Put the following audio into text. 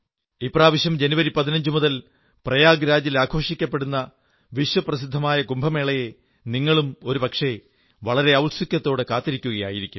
ഇപ്രാവശ്യം ജനുവരി 15 മുതൽ പ്രയാഗരാജ് ൽ ആഘോഷിക്കുന്ന വിശ്വപ്രസിദ്ധമായ കുംഭമേളയെ നിങ്ങളും ഒരു പക്ഷേ വളരെ ഔത്സുക്യത്തോടെ കാത്തിരിക്കയാകും